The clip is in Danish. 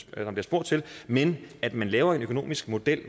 bliver spurgt til men at man laver en økonomisk model